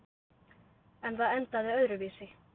En það endaði öðruvísi.